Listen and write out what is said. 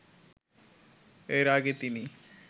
এর আগে তিনি